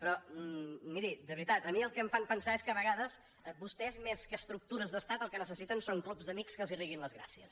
però miri de veritat a mi el que em fan pensar és que a vegades vostès més que estructures d’estat el que necessiten són clubs d’amics que els riguin les gràcies